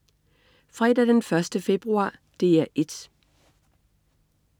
Fredag den 1. februar - DR 1: